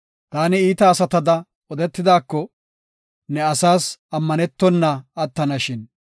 Taani iita asatada odetidaako, ne asaas ammanetona attanashin.